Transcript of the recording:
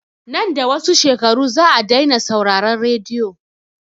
Nan da wasu shekaru za a dai na sauraran radiyo